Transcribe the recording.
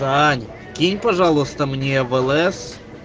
тань кинь пожалуйста мне в лс